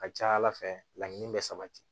A ka ca ala fɛ laɲini bɛ sabati